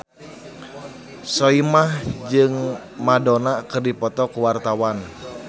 Soimah jeung Madonna keur dipoto ku wartawan